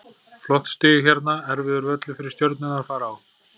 Flott stig hérna, erfiður völlur fyrir Stjörnuna að fara á.